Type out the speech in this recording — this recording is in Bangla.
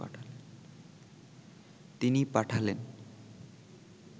তিনি পাঠালেন